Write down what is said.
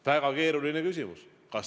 Väga keeruline küsimus.